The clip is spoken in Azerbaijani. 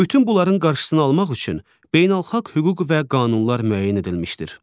Bütün bunların qarşısını almaq üçün beynəlxalq hüquq və qanunlar müəyyən edilmişdir.